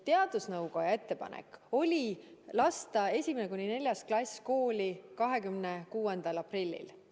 Teadusnõukoja ettepanek oli lasta 1.– 4. klass kooli 26. aprillil.